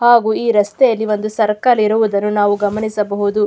ಹಾಗು ಈ ರಸ್ತೆಯಲ್ಲಿ ಒಂದು ಸರ್ಕಲ್ ಇರುವುದನ್ನು ನಾವು ಗಮನಿಸಬಹುದು.